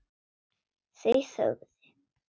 Þau þögðu.